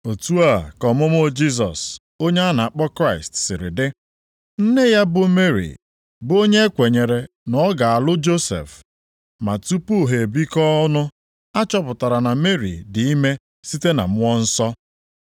Otu a ka ọmụmụ Jisọs, onye a na-akpọ Kraịst + 1:18 Maọbụ, Onye nzọpụta siri dị: Nne ya Meri bụ onye e kwenyere na ọ ga-alụ Josef, ma tupu ha ebikọọ ọnụ a chọpụtara na Meri di ime site na Mmụọ Nsọ.